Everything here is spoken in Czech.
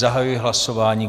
Zahajuji hlasování.